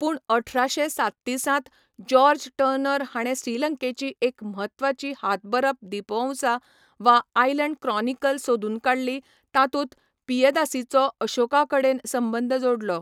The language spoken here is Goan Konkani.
पूण अठराशे सात्तीसांत जॉर्ज टर्नर हाणें श्रीलंकेची एक म्हत्वाची हातबरप दीपवंसा, वा 'आयलंड क्रॉनिकल' सोदून काडली, तातूंत पियदासीचो अशोकाकडेन संबंद जोडलो.